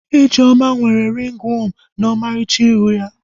Ijeoma nwere ringi wọọmụ na ọmarịcha iru ya